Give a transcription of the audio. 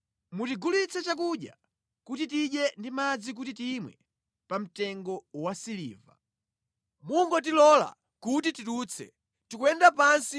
Mutigulitse chakudya kuti tidye ndi madzi kuti timwe pa mtengo wa siliva. Mungotilola kuti tidutse, tikuyenda pansi